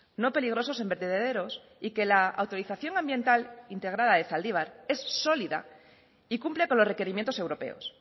no peligrosos en vertederos y que la autorización ambiental integrada de zaldibar es sólida y cumple con los requerimientos europeos